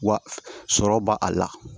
Wa sɔrɔ b'a a la